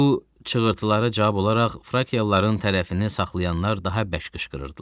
Bu çığırtılara cavab olaraq Frakialıların tərəfini saxlayanlar daha bərk qışqırırdılar.